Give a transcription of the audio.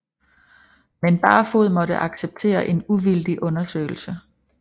Men Barfoed måtte acceptere en uvildig undersøgelse